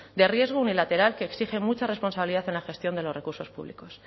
de riesgo unilateral que exige mucha responsabilidad en la gestión de los recursos públicos